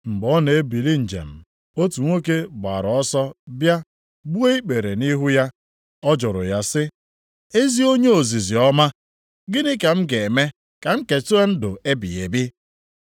Mgbe ọ na-ebili njem, otu nwoke gbaara ọsọ bịa gbuo ikpere nʼihu ya. Ọ jụrụ ya sị, “Ezi onye ozizi ọma, gịnị ka m ga-eme ka m keta ndụ ebighị ebi?”